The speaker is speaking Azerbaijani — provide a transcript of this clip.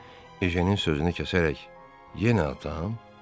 Ejənin sözünü kəsərək, yenə atam, dedi.